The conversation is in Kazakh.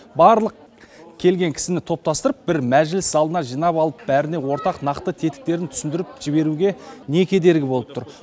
барлық келген кісіні топтастырып бір мәжіліс залына жинап алып бәріне ортақ нақты тетіктерін түсіндіріп жіберуге не кедергі болып тұр